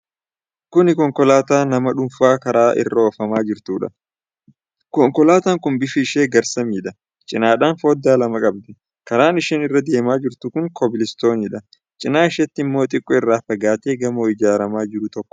Kuni konkolaataa nama dhuunfaa karaa irra ofamaa jirtuudha. Konkolaataan kun bifi ishee garsamiidha. Cinaadhaan foddaa lama qabdi. Karaan isheen irra deemaa jirtu kun kobilistooniidha. Cinaa isheetti immoo xiqqoo irraa fagaate gamoo ijaaramaa jiru tokkotu jira